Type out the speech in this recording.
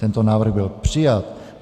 Tento návrh byl přijat.